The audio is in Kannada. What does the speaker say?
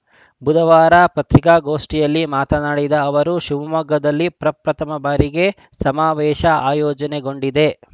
ಬುಧವಾರ ಪತ್ರಿಕಾಗೋಷ್ಠಿಯಲ್ಲಿ ಮಾತನಾಡಿದ ಅವರು ಶಿವಮೊಗ್ಗದಲ್ಲಿ ಪ್ರಪ್ರಥಮ ಬಾರಿಗೆ ಸಮಾವೇಶ ಆಯೋಜನೆಗೊಂಡಿದೆ